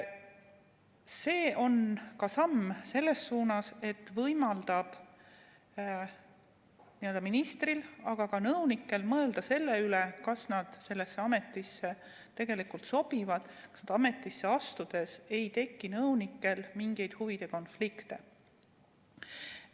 See on ka samm selles suunas, et võimaldada ministril, aga ka nõunikel mõelda selle üle, kas nad sellesse ametisse tegelikult sobivad, nii et ametisse astudes ei tekiks nõunikel mingisuguseid huvide konflikte.